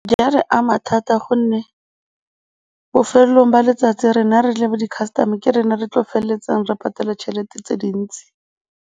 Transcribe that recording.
Di a re ama thata gonne bofelelong ba letsatsi rona re le bo di-custormer ke rena re tlo feleletsang re patela tšhelete tse dintsi.